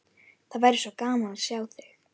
Það væri svo gaman að sjá þig.